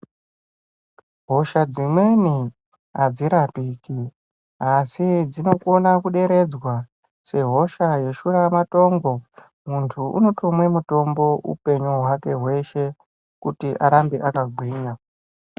Hosha dzimweni adzirapiki asi dzinokone kuderedzwa sehosha yeshura matongo muntu unotomwe mutombo upenyu hwake hweshe kuti arambe akagwinya.